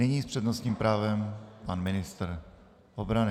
Nyní s přednostním právem pan ministr obrany.